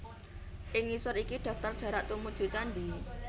Ing ngisor iki daftar jarak tumuju candhi